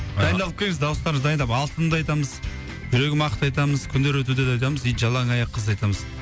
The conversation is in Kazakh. дайындалып келіңіз дауыстарыңызды дайындап алтынымды айтамыз жүрегім ақты айтамыз күндер өтудені айтамыз и жалаң аяқ қызды айтамыз